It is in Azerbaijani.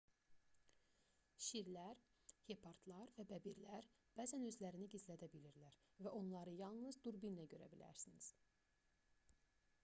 şirlər hepardlar və bəbirlər bəzən özlərini gizlədə bilirlər və onları yalnız durbinlə görə bilərsiniz